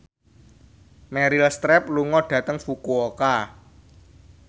Meryl Streep lunga dhateng Fukuoka